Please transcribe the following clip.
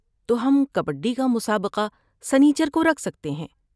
تو ہم کبڈی کا مسابقہ سنیچر کو رکھ سکتے ہیں۔